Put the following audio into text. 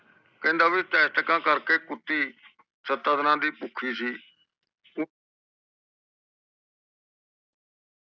ਕਹਿੰਦਾ ਵੀ ਟੈਟਕਾ ਕਰਕੇ ਕੁੱਤੀ ਸਤ੍ਆ ਦੀਨਾ ਦੀ ਭੁੱਖੀ ਸੀ